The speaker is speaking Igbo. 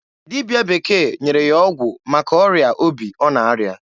Dibịa bekee nyere ya ọgwụ maka ọrịa obi ọ na-arịa.